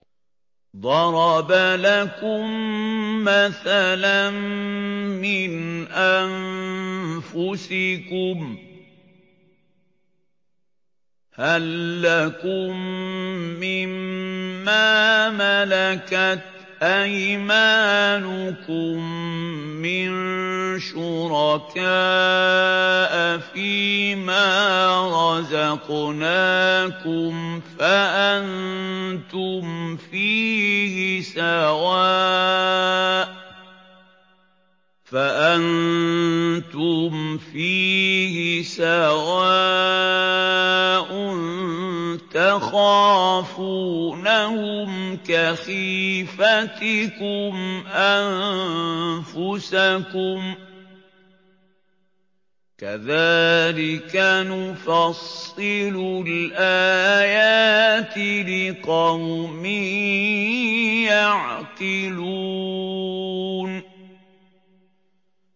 ضَرَبَ لَكُم مَّثَلًا مِّنْ أَنفُسِكُمْ ۖ هَل لَّكُم مِّن مَّا مَلَكَتْ أَيْمَانُكُم مِّن شُرَكَاءَ فِي مَا رَزَقْنَاكُمْ فَأَنتُمْ فِيهِ سَوَاءٌ تَخَافُونَهُمْ كَخِيفَتِكُمْ أَنفُسَكُمْ ۚ كَذَٰلِكَ نُفَصِّلُ الْآيَاتِ لِقَوْمٍ يَعْقِلُونَ